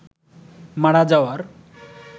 মারা যাওয়ার